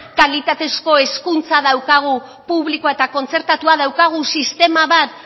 kalitatezko hezkuntza daukagu publikoa eta kontzertatua daukagu sistema bat